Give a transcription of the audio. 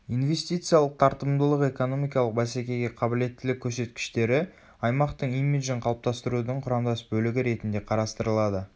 инвестициялық тартымдылық экономикалық бәсекеге қабілеттілік көрсеткіштері аймақтың имиджін қалыптастырудың құрамдас бөлігі ретінде қарастырылады